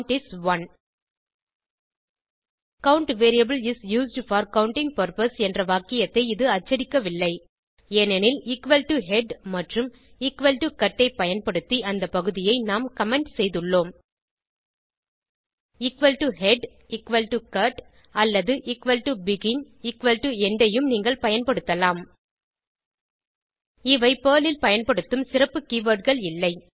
count is 1 count variable is used for counting purpose என்ற வாக்கியத்தை இது அச்சடிக்கவில்லை ஏனெனில் எக்குவல் டோ ஹெட் மற்றும் எக்குவல் டோ கட் ஐ பயன்படுத்தி அந்த பகுதியை நாம் கமெண்ட் செய்துள்ளோம் head cut அல்லது begin end ஐயும் நீங்கள் பயன்படுத்தலாம் இவை பெர்ல் ல் பயன்படுத்தும் சிறப்பு keywordகள் இல்லை